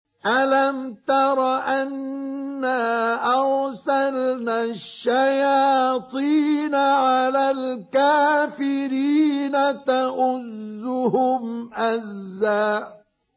أَلَمْ تَرَ أَنَّا أَرْسَلْنَا الشَّيَاطِينَ عَلَى الْكَافِرِينَ تَؤُزُّهُمْ أَزًّا